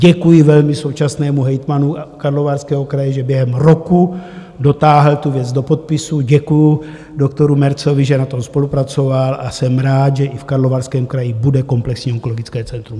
Děkuji velmi současnému hejtmanu Karlovarského kraje, že během roku dotáhl tu věc do podpisu, děkuju doktoru Märzovi, že na tom spolupracoval, a jsem rád, že i v Karlovarském kraji bude komplexní onkologické centrum.